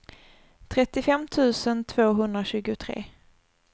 trettiofem tusen tvåhundratjugotre